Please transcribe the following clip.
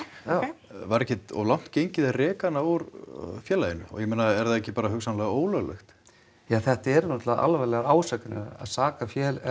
já ókei var ekkert of langt gengið að reka hana úr félaginu ég meina er það ekki bara hugsanlega ólöglegt ja þetta eru náttúrulega alvarlegar ásakanir að saka